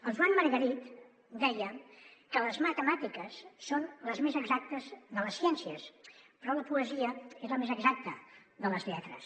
el joan margarit deia que les matemàtiques són les més exactes de les ciències però la poesia és la més exacta de les lletres